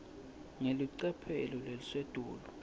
ngelicophelo lelisetulu